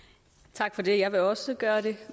tak for det jeg vil også gøre det